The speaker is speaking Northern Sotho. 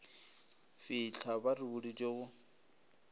fitlha ba re boditše go